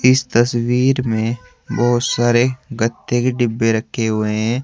इस तस्वीर में बहुत सारे गत्ते के डिब्बे रखे हुए हैं।